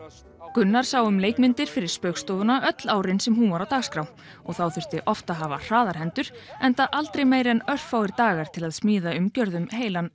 Gunnar sá um leikmyndir fyrir Spaugstofuna öll árin sem hún var á dagskrá og þá þurfti oft að hafa hraðar hendur enda aldrei meira en örfáir dagar til að smíða umgjörð um heilan